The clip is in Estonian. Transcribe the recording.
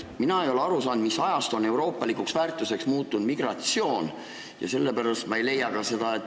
Mina ei ole aru saanud, mis ajast on migratsioon euroopalikuks väärtuseks muutunud.